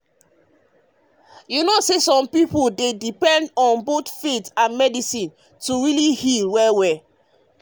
you know say some people dey depend on both faith and medicine to really heal. to really heal.